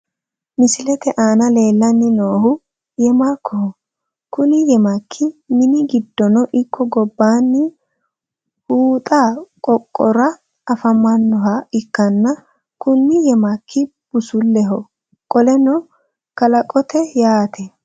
Misilete aana leellanni noohu yemakkoho. Kuni yemakki mini giddono ikko gobbaanni huxxu qooxora afamannoha ikkanna kuni yemakki busuleho qoleno kalaqote yaate.